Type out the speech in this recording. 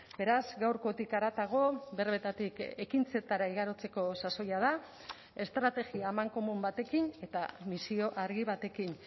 beraz gaurkotik haratago berbetatik ekintzetara igarotzeko sasoia da estrategia amankomun batekin eta misio argi batekin